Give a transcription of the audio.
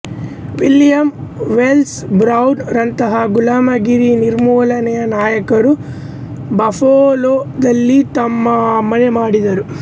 William Wells Brown ರಂತಹ ಗುಲಾಮಗಿರಿ ನಿರ್ಮೂಲನೆಯ ನಾಯಕರುಗಳು ಬಫಲೋದಲ್ಲಿ ತಮ್ಮ ಮನೆ ಮಾಡಿದರು